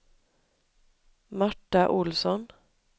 Marta Olsson